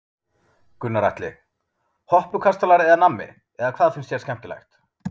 Gunnar Atli: Hoppukastalar eða nammi eða hvað finnst þér skemmtilegt?